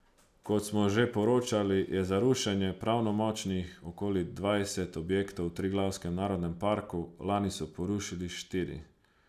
Kot smo že poročali, je za rušenje pravnomočnih okoli dvajset objektov v Triglavskem narodnem parku, lani so porušili štiri.